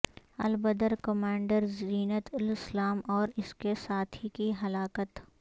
البدر commander Zeenat ul Islam اور اس کے ساتھی کی ہلاکت